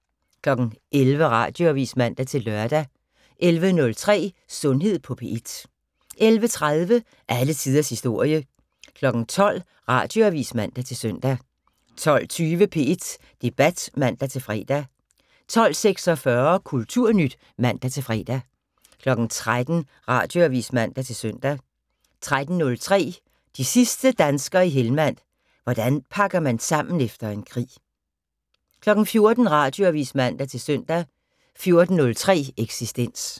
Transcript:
11:00: Radioavis (man-lør) 11:03: Sundhed på P1 11:30: Alle tiders historie 12:00: Radioavis (man-søn) 12:20: P1 Debat (man-fre) 12:46: Kulturnyt (man-fre) 13:00: Radioavis (man-søn) 13:03: De sidste danskere i Helmand - hvordan man pakker sammen efter en krig 14:00: Radioavis (man-søn) 14:03: Eksistens